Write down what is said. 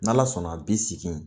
N'Ala sɔnna bi sigi in